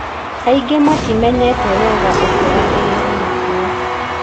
Aingĩ matimenyete wega ũkora ũrĩa ũrĩkuo